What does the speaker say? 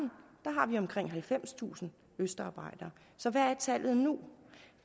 er omkring halvfemstusind østarbejdere så hvad er tallet nu